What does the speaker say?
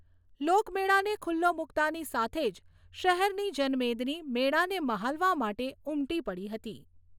લોકમેળાને ખુલ્લો મૂકતાંની સાથે જ શહેરની જનમેદની મેળાને માહલવા માટે ઉમટી પડી હતી.